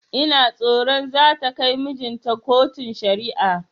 Ina tsoron zata kai mijinta kotun shari'a